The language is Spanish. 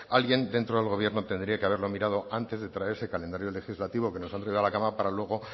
alguien dentro del gobierno tendría que haberlo mirado antes de traer ese calendario legislativo que nos han traído a la cámara para luego